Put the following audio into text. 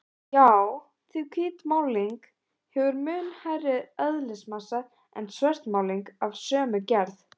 Já, því hvít málning hefur mun hærri eðlismassa en svört málning af sömu gerð.